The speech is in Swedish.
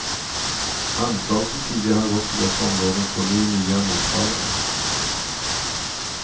Anslag som tidigare har gått till dessa områden får nu nya mottagare.